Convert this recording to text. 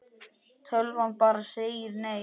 Tölvan bara segir nei.